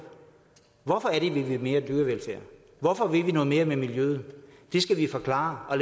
hvorfor er det at vi vil mere dyrevelfærd hvorfor vil vi noget mere med miljøet det skal vi forklare og